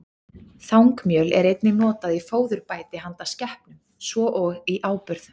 Þangmjöl er einnig notað í fóðurbæti handa skepnum, svo og í áburð.